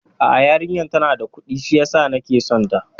A'a, yarinyar tana da Kudi shiyasa nake son ta